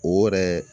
O yɛrɛ